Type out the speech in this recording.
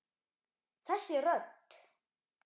Þessi rödd.